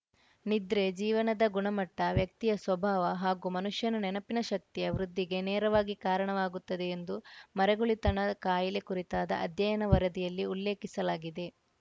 ನಿದ್ರೆ ಜೀವನದ ಗುಣಮಟ್ಟ ವ್ಯಕ್ತಿಯ ಸ್ವಭಾವ ಹಾಗೂ ಮನುಷ್ಯನ ನೆನಪಿನ ಶಕ್ತಿಯ ವೃದ್ಧಿಗೆ ನೇರವಾಗಿ ಕಾರಣವಾಗುತ್ತದೆ ಎಂದು ಮರೆಗುಳಿತನ ಕಾಯಿಲೆ ಕುರಿತಾದ ಅಧ್ಯಯನ ವರದಿಯಲ್ಲಿ ಉಲ್ಲೇಖಿಸಲಾಗಿದೆ